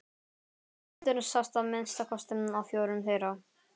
Ragnhildur sást að minnsta kosti á fjórum þeirra.